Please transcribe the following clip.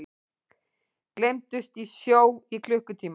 Gleymdust í sjó í klukkutíma